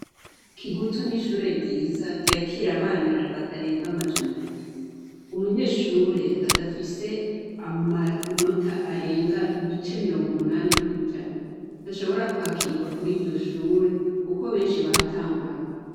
kigutu ni ishure ryiza ryakira abana batarenga amajana abiri. Umunyeshure adafise amanota arenga ibice mirongo umunani kw'ijana ntashobora kwakirwa kuri iryo shure, kuko benshi bahatanguranwa.